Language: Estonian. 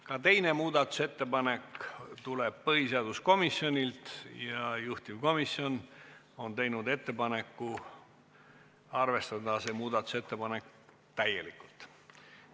Ka teine muudatusettepanek tuleb põhiseaduskomisjonilt ja juhtivkomisjon on teinud ettepaneku arvestada seda täielikult.